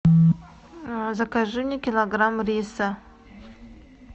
закажи мне килограмм риса